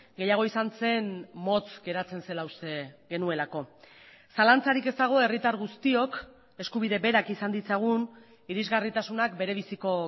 gehiago izan zen motz geratzen zela uste genuelako zalantzarik ez dago herritar guztiok eskubide berak izan ditzagun irisgarritasunak bere biziko